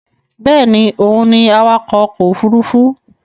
Bẹ́ẹ̀ni òun ni awakọ̀ ọkọ̀ òfurufú